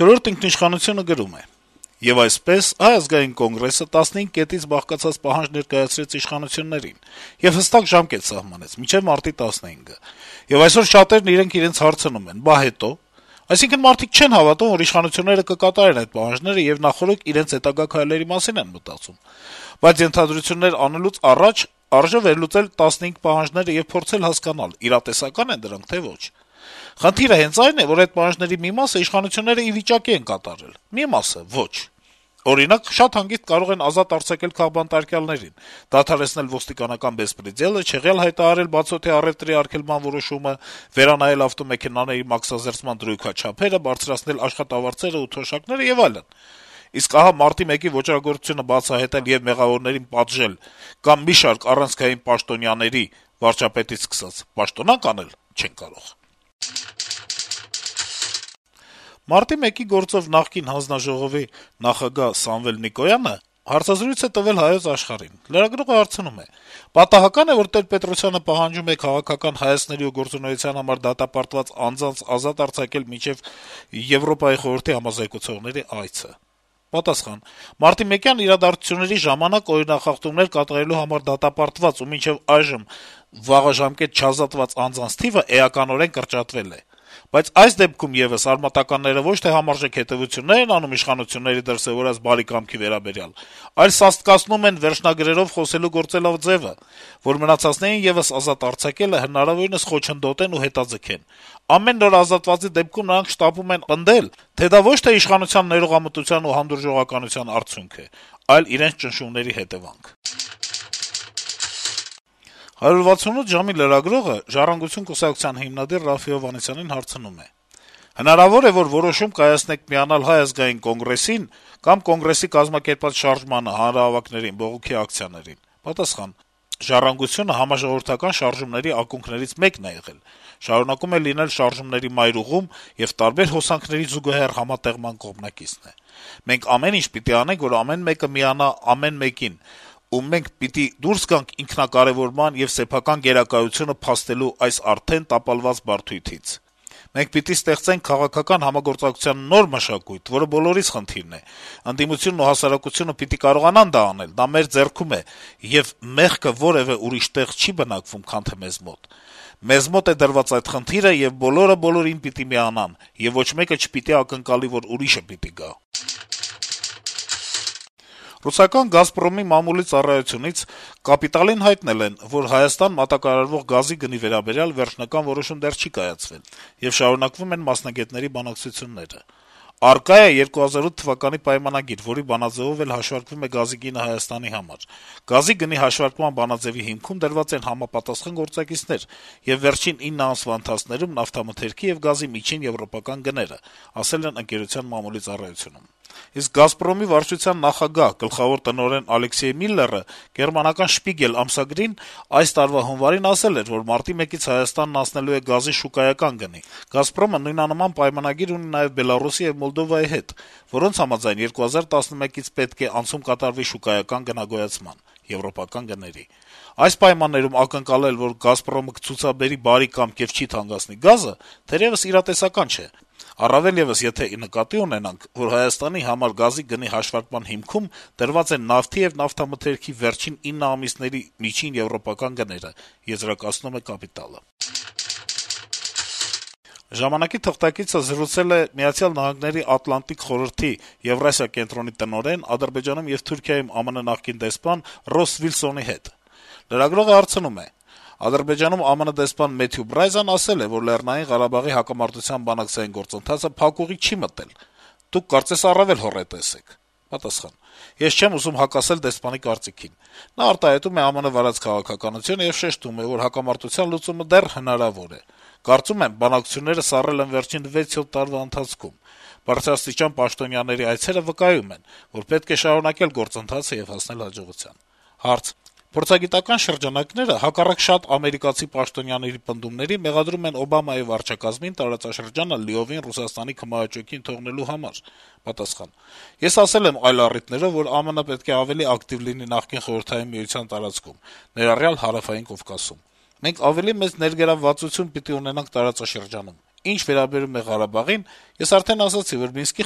«Չորրորդ ինքնիշխանություն»-ը գրում է. - «Եվ այսպես, Հայ ազգային կոնգրեսը 15 կետից բաղկացած պահանջ ներկայացրեց իշխանություններին եւ հստակ ժամկետ սահմանեց` մինչեւ մարտի 15-ը: Եվ այսօր շատերն իրենք իրենց հարցնում են` «բա հետո՞»: Այսինքն` մարդիկ չեն հավատում, որ իշխանությունները կկատարեն այդ պահանջները, եւ նախօրոք իրենց հետագա քայլերի մասին են մտածում: Բայց ենթադրություններ անելուց առաջ արժե վերլուծել Կոնգրեսի 15 պահանջները եւ փորձել հասկանալ` իրատեսակա՞ն են դրանք, թե՞ ոչ: Խնդիրը հենց այն է, որ այդ պահանջների մի մասը իշխանությունների ի վիճակի են կատարել, մի մասը` ոչ: Օրինակ, շատ հանգիստ կարող են ազատ արձակել քաղբանտարկյալներին, դադարեցնել ոստիկանական «բեսպրեդելը», չեղյալ հայտարարել բացօդյա առեւտրի արգելման մասին որոշումը, վերանայել ավտոմեքենաների մաքսազերծման դրույքաչափերը, բարձրացնել աշխատավարձերն ու թոշակները եւ այլն: Իսկ ահա մարտի 1-ի ոճրագործությունը բացահայտել ու մեղավորներին պատժել կամ մի շարք առանցքային պաշտոնյաների (վարչապետից սկսած) պաշտոնանկ անել չեն կարող»: Մարտի 1-ի գործով խորհրդարանական ժամանակավոր հանձնաժողովի նախագահ Սամվել Նիկոյանը հարցազրույց է տվել «Հայոց Աշխարհ»-ին: Լրագրողը հարցնում է. - «Պատահակա՞ն է, որ Տեր-Պետրոսյանը պահանջում է «քաղաքական հայացքների ու գործունեության համար դատապարտված» անձանց ազատ արձակել մինչեւ ԵԽ համազեկուցողների այցը»: Նիկոյանը պատասխանում է. - «Մարտիմեկյան իրադարձությունների ժամանակ օրինախախտումներ կատարելու համար դատապարտված ու մինչ այժմ վաղաժամ չազատված անձանց թիվը էականորեն կրճատվել է: Բայց այս դեպքում եւս արմատականները ոչ թե համարժեք հետեւություններ են անում իշխանությունների դրսեւորած բարի կամքի վերաբերյալ, այլ սաստկացնում են վերջնագրերով խոսելու գործելաձեւը` որ մնացածներին եւս ազատելը հնարավորինս խոչընդոտեն ու հետաձգեն: Ամեն նոր ազատվածի դեպքում նրանք շտապում են պնդել, թե դա ոչ թե իշխանության ներողամտության ու հանդուրժողականության արդյունք է, այլ իրենց ճնշումների հետեւանք»: «168 ժամ»-ի լրագրողը «Ժառանգություն» կուսակցության հիմնադիր Րաֆֆի Հովհաննիսյանին հարցնում է. - «Հնարավո՞ր է, որ որոշում կայացնեք միանալ ՀԱԿ-ին կամ ՀԱԿ-ի կազմակերպած շարժմանը, հանրահավաքներին, բողոքի ակցիաներին»: Հովհաննիսյանը պատասխանում է. - ««Ժառանգությունը» համաժողովրդական շարժման ակունքներից մեկն է եղել, շարունակում է լինել շարժումների մայրուղում եւ տարբեր հոսանքների զուգահեռ համատեղման կողմնակիցն է: Մենք ամեն ինչ պիտի անենք, որ ամեն մեկը միանա ամեն մեկին: Ու մենք պիտի դուրս գանք ինքնակարեւորման եւ սեփական գերակայությունը փաստելու այս արդեն տապալված բարդույթից: Մենք պիտի ստեղծենք քաղաքական համագործակցության նոր մշակույթ, որը բոլորիս խնդիրն է: Ընդդիմությունն ու հասարակությունը պիտի կարողանան դա անել: Դա մեր ձեռքում է, եւ մեղքը որեւէ ուրիշ տեղ չի բնակվում, քան թե մեզ մոտ: Մեզ մոտ է դրված այդ խնդիրը, եւ բոլորը բոլորին պիտի միանան: Եվ ոչ մեկը չպիտի ակնկալի, որ ուրիշը պիտի գա»: Ռուսաստանյան «Գազպրոմ»-ի մամուլի ծառայությունից «Կապիտալ»-ին հայտնել են, որ որ Հայաստան մատակարարվող գազի գնի վերաբերյալ վերջնական որոշում չի կայացվել, եւ շարունակվում են մասնագետների բանակցությունները։ «Առկա է 2008 թվականի պայմանագիր, որի բանաձեւով էլ հաշվարկվում է գազի գինը Հայաստանի համար։ Գազի գնի հաշվարկման բանաձեւի հիմքում դրված են համապատասխան գործակիցներ եւ վերջին ինը ամսվա ընթացքում նավթամթերքի եւ գազի միջին եվրոպական գները»: Իսկ «Գազպրոմ»-ի վարչության նախագահ, գլխավոր տնօրեն Ալեքսեյ Միլլերը գերմանական «Շպիգել» ամսագրին այս տարվա հունվարին ասել էր, որ մարտի 1-ից Հայաստանն անցնելու է գազի շուկայական գնի: «Գազպրոմ»-ը նույնանման պայմանագրեր ունի նաեւ Մոլդովայի եւ Բելառուսի հետ, որոնց համաձայն, որոնք համաձայն 2011-ից անցում պիտի կատարվի շուկայական գնագոյացմնան, եվրոպական գների: «Այս պայմաններում ակնկալել, որ «Գազպրոմը» կցուցաբերի բարի կամք ու չի թանկացնի գազը, թերևս իրատեսական չէ, առավելեւս, եթե նկատի ունենանք, որ Հայաստանի համար գազի գնի հաշվարկման հիմքում դրված են նավթի եւ նավթամթերքի վերջին ինը ամիսների միջին եվրոպական գները», - եզրակացնում է թերթը: «Ժամանակ»-ի թղթակիցը զրուցել է Միացյալ Նահանգների Ատլանտիկ խորհրդի Եվրասիա կենտրոնի տնօրեն, Ադրբեջանում եւ Թուրքիայում ԱՄՆ-ի նախկին դեսպան Ռոսս Վիլսոնի հետ: Լրագրողը հարցնում է. - «Ադրբեջանում ԱՄՆ-ի դեսպան Մեթյու Բրայզան ասել է, որ Լեռնային Ղարաբաղի հակամարտության բանակցային գործւընթացը փակուղի չի մտել: Դուք, կարծես, առավետ հոռետես եք»: Պատասխան. - «Ես չեմ ուզում հակասել դեսպանի կարծիքին: Նա արտահայտում է ԱՄՆ-ի վարած քաղաքականությունը եւ շեշտում է, որ հակամարտության լուծումը դեռ հնարավոր է: Կարծում եմ, բանակցությունները սառել են վերջին 6-7 տարվա ընթացքում,: Բարձրաստիճան պաշտոնյաների այցերը վկայում են, որ պետք է շարունակել գործընթացը եւ հասնել հաջողության»: Հարց. - «Փորձագիտական շրջանակները, հակառակ շատ ամերիկացի պաշտոնյաների, մեղադրում են Օբամայի վարչակազմին տարածաշրջանը լիովին Ռուսաստանի քմահաճույքին թողնելու համար»: Պատասխան. - «Ես ասել եմ այլ առիթներով, որ ԱՄՆ-ի պետք է ավելի ակտիվ լինի նախկին Խորհրդային Միության տարածքում` ներառյալ Հարավային Կովկասում: Մենք ավելի մեծ ներգրավվածություն պիտի ունենանք տարածաշրջանում: Ինչ վերաբերում է Ղարաբաղին` ես արդեն ասացի, որ Մինսկի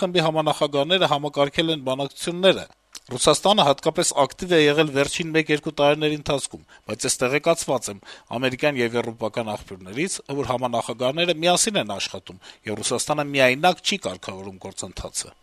խմբի համանախագահները համակարգել են բանակցությունները: Ռուսաստանը հատկապես ակտիվ է եղել վերջին մեկ-երկու տարիների ընթացքում: Բայց ես տեղեկացված եմ ամերիկյան եւ եվրոպական աղբյուներից, որ համանախագահները միասին են աշխատում, եւ Ռուսաստանը միայնակ չի կարգավորում գործընթացը»: